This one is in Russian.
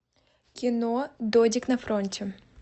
кино додек на фронте